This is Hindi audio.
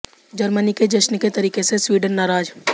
जर्मनी के जश्न के तरीके से स्वीडन नाराज